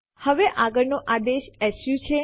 હવે આગળ નો આદેશ સુ છે